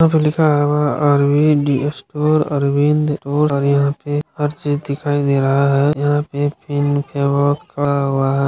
यहाँ पे लिखा हुआ अरविन्द स्टोर अरविन्द स्टोर और यहाँ पे हर चीज दिखाई दे रहा है। यहाँ पे खड़ा हुआ है।